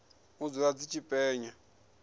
u dzula dzi tshi penya